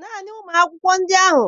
Naanị ụmụ akwụkwọ ndị ahụ